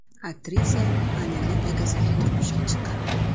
Aktrisa Anilning akasiga turmushga chiqqan.